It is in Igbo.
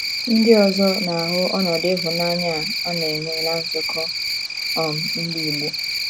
Ndị ọzọ na - ahụ ọnọdụ ịhụnanya a na - enwe ná nzukọ um Ndị Igbo.